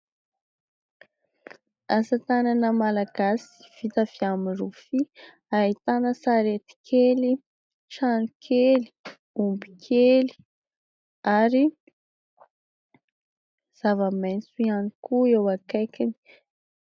Asa tanana malagasy vita avy amin'ny rofia. Ahitana sarety kely, trano kely, omby kely, ary zava-maitso ihany koa eo akaikiny.